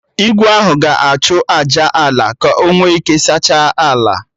Igwe ahụ ga-achụ àjà nye Ala ka o nwe ike saachaa ala